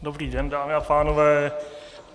Dobrý den, dámy a pánové.